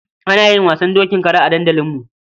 Ana yin wasan dokin kara a dandalinmu.